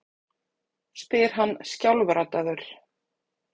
spyr hann skjálfraddaður.